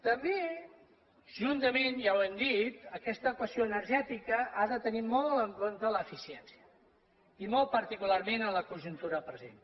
també juntament ja ho hem dit aquesta equació energètica ha de tenir molt en compte l’eficiència i molt particularment en la conjuntura present